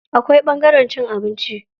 Akwai ɓangaren cin abinci.